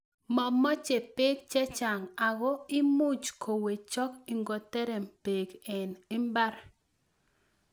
Momoche bek chechang' ak imuche kowechok ingoterem beek en mbar.